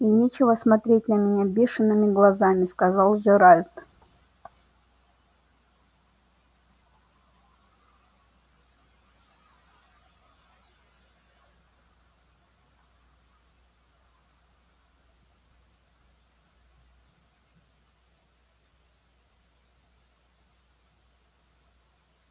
и нечего смотреть на меня бешеными глазами сказал джеральд